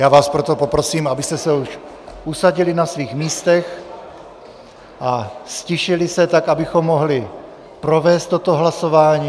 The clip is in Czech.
Já vás proto poprosím, abyste se už usadili na svých místech a ztišili se, tak abychom mohli provést toto hlasování.